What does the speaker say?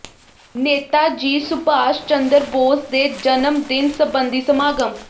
ਨੇਤਾ ਜੀ ਸੁਭਾਸ਼ ਚੰਦਰ ਬੋਸ ਦੇ ਜਨਮ ਦਿਨ ਸਬੰਧੀ ਸਮਾਗਮ